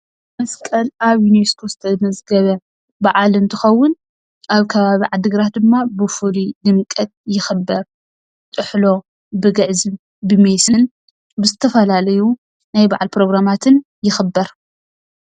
መስቀል ኣብ ዩኔስኮ ዝተመዝገበ በዓል እንትኸዉን ኣብ ከባቢ ዓድግራት ድማ ብፍሉይ ድምቀት ይኽበር። ብጥሕሎ ግዕዝም ሜስን ዝተፈላለዩ ናይ በዓል ፕሮግራማትን ይኽበር ።